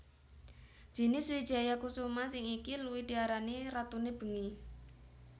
Jinis wijaya kusuma sing iki luwih diarani ratune bengi